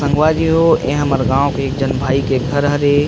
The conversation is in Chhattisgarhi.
आंगवली हो ए हमार गांव एक झन भाई के घर हरे।